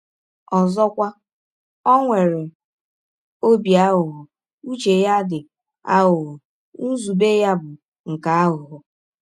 Ọzọkwa, ọ nwere ọbi aghụghọ — ụche ya dị “ aghụghọ, ” nzụbe ya bụ “ nke aghụghọ. ”